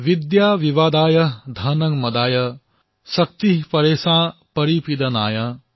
বিদ্যা বিবাদায় ধনং মদায় শক্তিঃ পৰেষাং পৰিপিডনায়